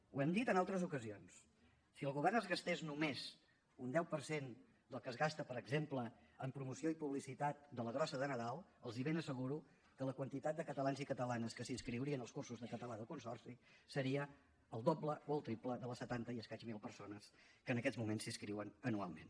ho hem dit en altres ocasions si el govern es gastés només un deu per cent del que es gasta per exemple en promoció i publicitat de la grossa de nadal els ben asseguro que la quantitat de catalans i catalanes que s’inscriurien als cursos de català del consorci seria el doble o el triple de les setanta i escaig mil persones que en aquests moments s’hi inscriuen anualment